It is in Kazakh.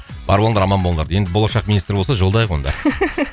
бар болыңдар аман болыңдар енді болашақ министр болса жолдайық онда